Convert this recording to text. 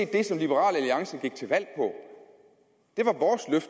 det som liberal alliance gik til valg på